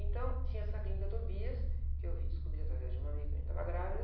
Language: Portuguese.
Então, tinha essa clínica Tobias, que eu vim descobri através de uma amiga que também estava grávida,